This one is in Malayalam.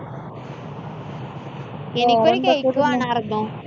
എനിക്കൊരു cake വേണാർന്നു.